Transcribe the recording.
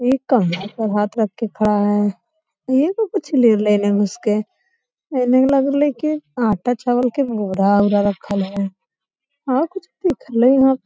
एक का हाथ पे हाथ रख के खड़ा है ले लग रहल है कि आटा चावल के बोरा-वोरा रखल हई और कुछ दिखलइ --